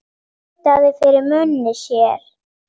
Tautaði fyrir munni sér.